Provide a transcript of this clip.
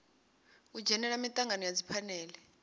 u dzhenela mitangano ya dziphanele